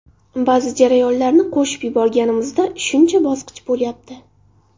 Ba’zi jarayonlarni qo‘shib yuborganimizda shuncha bosqich bo‘lyapti.